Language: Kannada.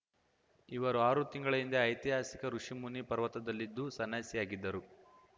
ಇವರು ಆರು ತಿಂಗಳ ಹಿಂದೆ ಐತಿಹಾಸಿಕ ಋುಷಿ ಮುನಿ ಪರ್ವತದಲ್ಲಿದ್ದು ಸನ್ಯಾಸಿಯಾಗಿದ್ದರು